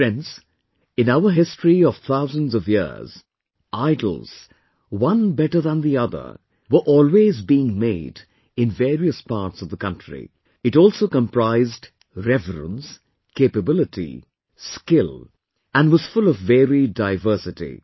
Friends, in our history of thousands of years, idols, one better than the other were always being made in various parts of the country; it also comprised reverence, capability, skill and was full of varied diversity